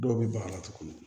Dɔw bɛ baga la tuguni